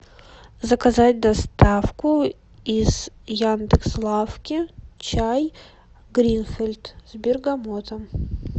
заказать доставку из яндекс лавки чай гринфилд с бергамотом